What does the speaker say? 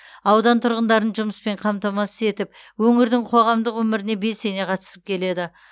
аудан тұрғындарын жұмыспен қамтамасыз етіп өңірдің қоғамдық өміріне белсене қатысып келеді